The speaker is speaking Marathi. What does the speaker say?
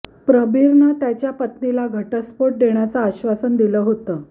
प्रबीरनं त्याच्या पत्नीला घटस्फोट देण्याचं आश्वासन दिलं होतं